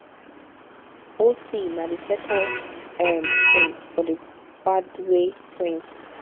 ocee na di second um twin for di mbadiwe twins